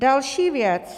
Další věc.